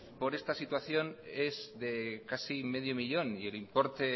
por esta situación es de casi medio millón y el importe